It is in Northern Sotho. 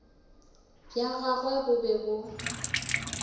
bja gagwe bo be bo